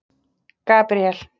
Gabríel